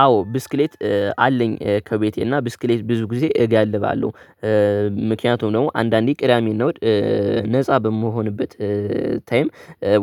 አዎ ብስኪሌት አለኝ ከቤቴ እና ብስኪሌት ብዙ ጊዜ እጋልባለሁ። ምክንያቱ ደግሞ አንድ አንዴ ቅዳሜ እና እሁድ ነፃ በምሆንበት ታይም